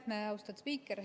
Aitäh, austatud spiiker!